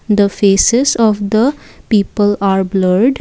the faces of the people are blurred.